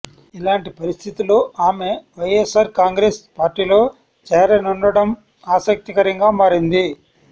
ఇలాంటి పరిస్థితుల్లో ఆమె వైఎస్సార్ కాంగ్రెస్ పార్టీలో చేరనుండడం ఆసక్తికరంగా మారింది